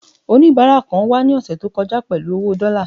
onibara kan wà ni ọsẹ ti o kọjá pẹlú owo dọ́là